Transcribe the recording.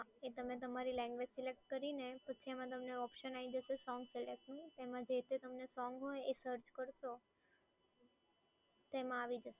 હા એ તમે તમારી લેંગ્વેજ સિલેક્ટ કરીને પછી એમાં તમને ઓપ્શન આઈ જશે સોંગ સિલેક્ટનું તેમાં જે-તે તમને સોંગ હોય એ તમે સર્ચ કરશો તેમાં આવી જશે